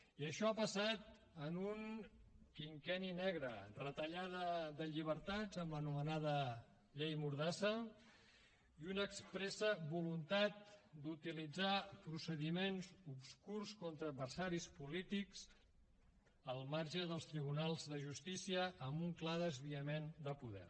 i això ha passat en un quinquenni negre retallada de llibertats amb l’anomenada llei mordassa i una expressa voluntat d’utilitzar procediments obscurs contra adversaris polítics al marge dels tribunals de justícia amb un clar desviament de poder